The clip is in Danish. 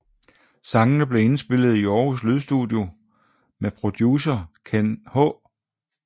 Sangene blev indspillet i Aarhus Lydstudie med producer Kenn H